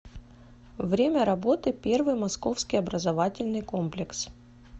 время работы первый московский образовательный комплекс